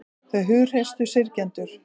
Þau hughreystu syrgjendur